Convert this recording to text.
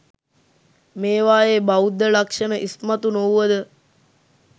මේවායේ බෞද්ධ ලක්ෂණ ඉස්මතු නොවුව ද